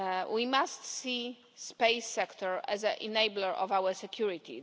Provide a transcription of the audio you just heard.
We must see the space sector as an enabler of our security.